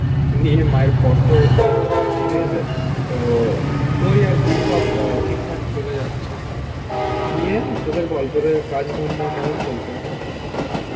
নিয়ে মায়ের কষ্ট হচ্ছে ঠিক আছে. তো ওই আর কি সব ঠিকঠাক চলে যাচ্ছে. নিয়ে তোদের বল তোদের কাজ ধান্দা কেমন চলছে এখন?